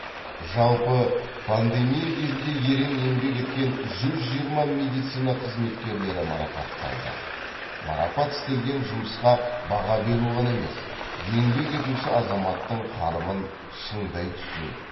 жалпы пандемия кезінде ерең еңбек еткен жүз жиырма медицина қызметкерлері марапатталды марапат істелген жұмысқа баға беру ғана емес еңбек етуші азаматтың қарымын шыңдай түсу